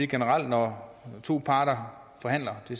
generelt når to parter forhandler det